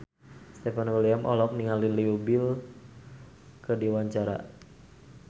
Stefan William olohok ningali Leo Bill keur diwawancara